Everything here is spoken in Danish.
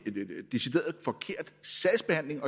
sagsbehandling